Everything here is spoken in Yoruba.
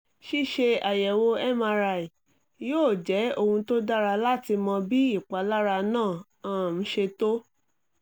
ṣíṣe àyẹ̀wò mri yóò jẹ́ ohun tó dára láti mọ bí ìpalára náà um ṣe tó